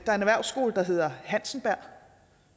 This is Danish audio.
er en erhvervsskole der hedder hansenberg